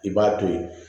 I b'a to ye